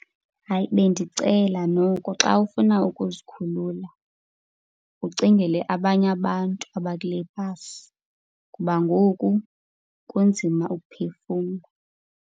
Hayi, bendicela noko xa ufuna ukuzikhulula ucingele abanye abantu abakule bhasi, ngoba ngoku kunzima ukuphefumla.